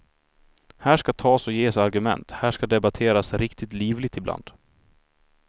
Här ska tas och ges argument, här ska debatteras riktigt livligt ibland.